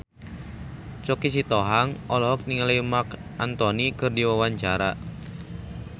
Choky Sitohang olohok ningali Marc Anthony keur diwawancara